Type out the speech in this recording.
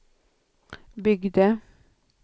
byggde